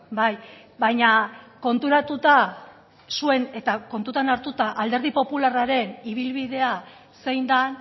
bai baina konturatuta zuen eta kontutan hartuta alderdi popularraren ibilbidea zein den